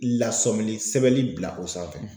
Lasɔminen sɛbɛnli bila o sanfɛ.